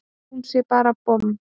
Að hún sé bara bomm!